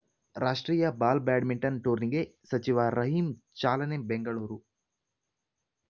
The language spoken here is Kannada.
ರಾಷ್ಟ್ರೀಯ ಬಾಲ್‌ ಬ್ಯಾಡ್ಮಿಂಟನ್‌ ಟೂರ್ನಿಗೆ ಸಚಿವ ರಹೀಂ ಚಾಲನೆ ಬೆಂಗಳೂರು